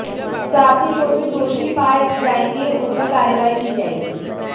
साथ ही जो भी दोषी पाए जाएंगे उन पर कार्रवाई की जाएगी